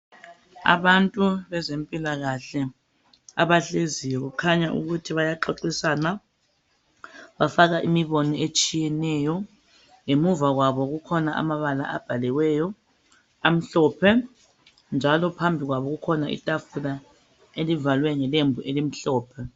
Abantu bezempilakahle abahleziyo okukhanya ukuthi bayaxoxisana bafaka imibono etshiyeneyo. Ngemuva kwabo kukhona amabala abhaliweyo amhlophe njalo phambi kwabo kukhona itafula elivalwe ngelembu elimhlophe.